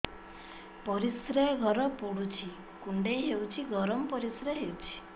ପରିସ୍ରା ଘର ପୁଡୁଚି କୁଣ୍ଡେଇ ହଉଚି ଗରମ ପରିସ୍ରା ହଉଚି